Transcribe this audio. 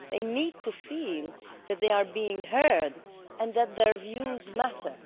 They need to feel that they are being heard and that their views matter.